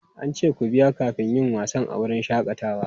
An ce ku biya kafin yin wasanni a wurin shakatawa?